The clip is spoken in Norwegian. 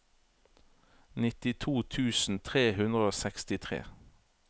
nittito tusen tre hundre og sekstitre